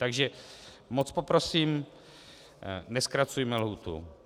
Takže moc poprosím, nezkracujme lhůtu.